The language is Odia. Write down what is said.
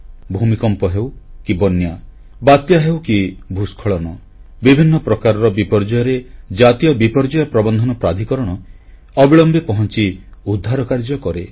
ଭୂମିକମ୍ପ ହେଉ କି ବନ୍ୟା ବାତ୍ୟା ହେଉ କି ଭୂସ୍ଖଳନ ବିଭିନ୍ନ ପ୍ରକାରର ବିପର୍ଯ୍ୟୟରେ ଜାତୀୟ ବିପର୍ଯ୍ୟୟ ପ୍ରବନ୍ଧନ ପ୍ରାଧିକରଣ ଅବିଳମ୍ବେ ପହଂଚି ଉଦ୍ଧାରକାର୍ଯ୍ୟ କରେ